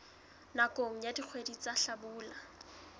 nakong ya dikgwedi tsa hlabula